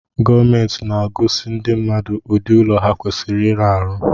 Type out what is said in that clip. Gomenti na-agosi ndi mmadụ ụdị ụlọ ha kwasiri ịrụnụ